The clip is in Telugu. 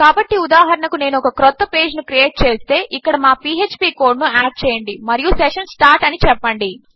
కాబట్టి ఉదాహరణకు నేను ఒక క్రొత్త పేజ్ ను క్రియేట్ చేస్తే ఇక్కడ మా పీఎచ్పీ కోడ్ ను యాడ్ చేయండి మరియు సెషన్ సార్ట్ అని చెప్పండి